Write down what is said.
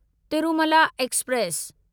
Tirumala express